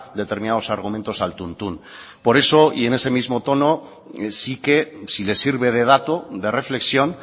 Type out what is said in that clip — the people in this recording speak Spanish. determinados argumentos al tuntún por eso y en ese mismo tono sí que si le sirve de dato de reflexión